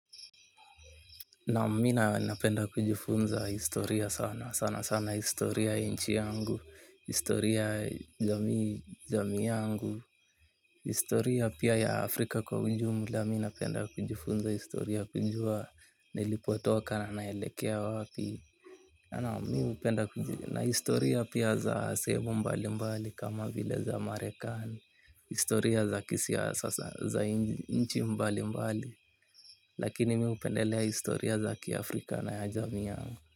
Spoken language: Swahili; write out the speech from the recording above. Naam, mi napenda kujifunza historia sana sana sana historia ya inchi yangu, historia jamii yangu, historia pia ya Afrika kwa ujumula mi napenda kujifunza historia kujua nilipotoka na naelekea wapi. Na historia pia za sehemu mbali mbali kama vile za marekani. Historia za kisiasa za inchii mbalimbali. Lakini mi upendelea historia za kiafrika na ya jamii yangu.